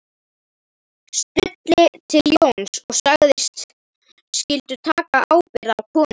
Stulli til Jóns og sagðist skyldu taka ábyrgð á konunni